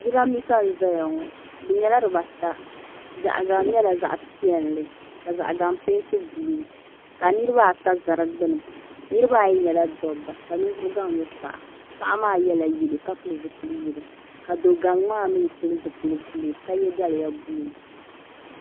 Jirambisa n zaya ŋɔ di nyɛla dibaata zaɣa gaŋ nyɛla zaɣa piɛli ka zaɣa gaŋ penti buluu ka niriba ata za di gbini niriba ayi nyɛla dobba ka ninvuɣu gaŋ nyɛ paɣa paɣa maa yela yelo ka pili yelo ka do'gaŋ maa mee pili zipil'buluu ka ye daliya buluu.